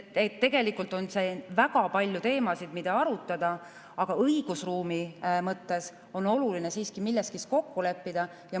Siin on väga palju teemasid, mida arutada, aga õigusruumi mõttes on oluline siiski milleski kokku leppida.